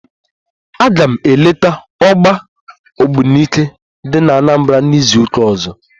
Aga m eleta ọgba ogbunike dị n'Anambra n'izuụka ọzọ